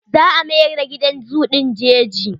Za mayar da gidan zoo ɗin jeji.